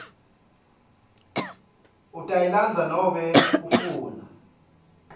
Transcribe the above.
utayilandza nobe ufuna